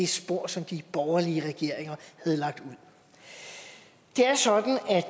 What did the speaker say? spor som de borgerlige regeringer havde lagt ud det er sådan at